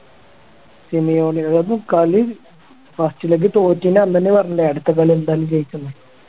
അതൊക്കെ കളി first leg തോറ്റെന്റെ അന്ന് തന്നെ പറഞ്ഞല്ലേ അടുത്ത കളി എന്തായാലും ജയിക്കുംന്ന്